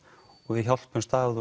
og við hjálpumst að